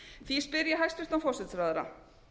því spyr ég hæstvirtan forsætisráðherra